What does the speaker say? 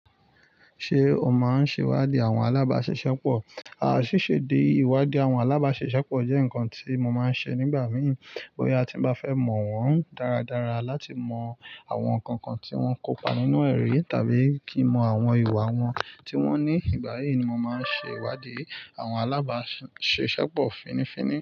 Ṣé o máa ń ṣèwádìí àwọn alábáṣiṣẹ́pọ̀? Sise íwádìí àwọn alábàṣiṣepo jẹ́ nǹkan tí mo máa ń ṣe nígbà mìí. Bóyá a ti bá fẹ́ mọ̀ wọ́n dáradára láti mọ àwọn nǹkan kan tí wọ́n kópa nínú ẹ̀ri tàbí kí mọ àwọn ìwà wọn tí wọ́n ní. Ìgbà yìí ni mo máa ń ṣe ìwádìí àwọn alábáṣiṣẹ́pọ̀ fínnífínní.